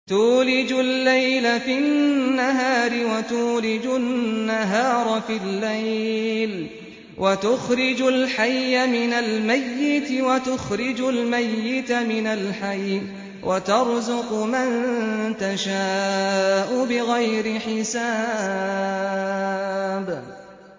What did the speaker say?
تُولِجُ اللَّيْلَ فِي النَّهَارِ وَتُولِجُ النَّهَارَ فِي اللَّيْلِ ۖ وَتُخْرِجُ الْحَيَّ مِنَ الْمَيِّتِ وَتُخْرِجُ الْمَيِّتَ مِنَ الْحَيِّ ۖ وَتَرْزُقُ مَن تَشَاءُ بِغَيْرِ حِسَابٍ